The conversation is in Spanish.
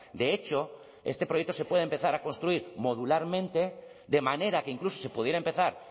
de hecho este proyecto se puede empezar a construir modularmente de manera que incluso se pudiera empezar